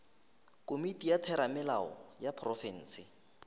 komiti ya theramelao ya profense